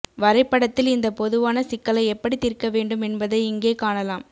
வரைபடத்தில் இந்த பொதுவான சிக்கலை எப்படி தீர்க்க வேண்டும் என்பதை இங்கே காணலாம்